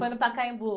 Foi no Pacaembu.